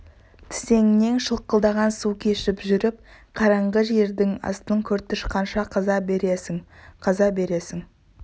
тізеңнен шылқылдаған су кешіп жүріп қараңғы жердің астын көртышқанша қаза бересің қаза бересің